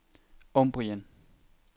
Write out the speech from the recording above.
Umbrien